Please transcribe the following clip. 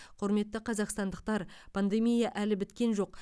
құрметті қазақстандықтар пандемия әлі біткен жоқ